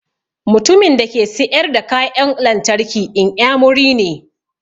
Mutumin dake siƴar da kaƴan lantarki inƴamuri ne.